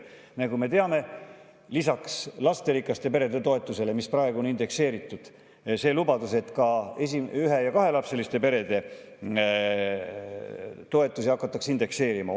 " Nagu me teame, lisaks lasterikaste perede toetusele, mis praegu on indekseeritud, oli lubadus, et ka ühe‑ ja kahelapseliste perede toetusi hakatakse indekseerima.